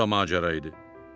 Bu da macəraydı.